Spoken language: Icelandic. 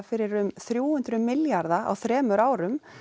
fyrir um þrjú hundruð milljarða á þremur árum